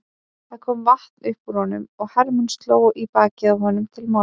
Það kom vatn upp úr honum og Hermann sló í bakið á honum til málamynda.